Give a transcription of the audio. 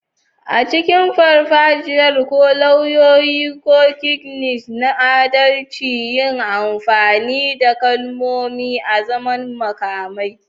A cikin farfajiyar, ko lauyoyi, ko Knights na adalci, yi amfani da kalmomi azaman makamai.